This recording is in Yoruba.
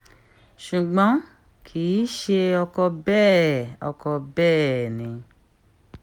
ṣùgbọ́n kì í ṣe ọkọ̀ bẹ́ẹ̀ ọkọ̀ bẹ́ẹ̀ ni